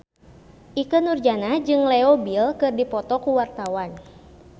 Ikke Nurjanah jeung Leo Bill keur dipoto ku wartawan